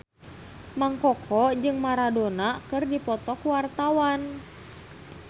Mang Koko jeung Maradona keur dipoto ku wartawan